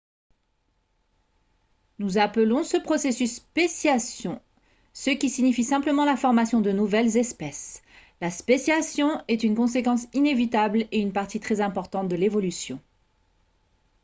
nous appelons ce processus « spéciation » ce qui signifie simplement la formation de nouvelles espèces. la spéciation est une conséquence inévitable et une partie très importante de l’évolution